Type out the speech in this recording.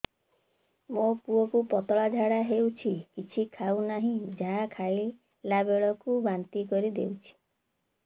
ମୋ ପୁଅ କୁ ପତଳା ଝାଡ଼ା ହେଉଛି କିଛି ଖାଉ ନାହିଁ ଯାହା ଖାଇଲାବେଳକୁ ବାନ୍ତି କରି ଦେଉଛି